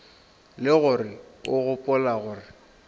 le gore o gopola gore